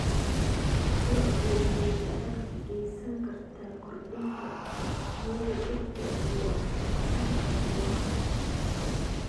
Lo'du waxay gacan ka geysan kartaa kordhinta tayada dhirta iyo wax soo saarka beeraha.